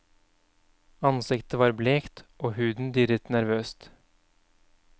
Ansiktet var blekt og huden dirret nervøst.